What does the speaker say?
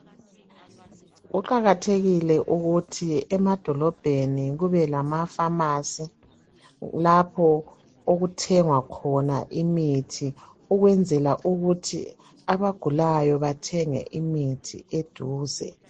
Kuqakathekile ukuthi emadolobheni kube lamafamasi lapho okuthengwa khona imithi ukwenzela ukuthi abagulayo bathenge imithi eduze.